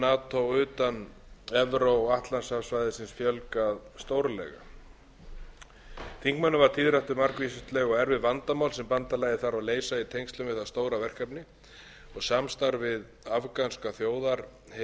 nato utan evró atlantshafssvæðisins fjölgað stórlega þingmönnum varð tíðrætt um margvísleg og erfið vandamál sem bandalagið þarf að leysa í tengslum við það stóra verkefni samstarf við afganska þjóðarherinn var áberandi í